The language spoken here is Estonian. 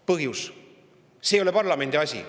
Põhjus: see ei ole parlamendi asi.